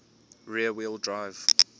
rear wheel drive